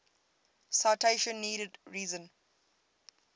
citation needed reason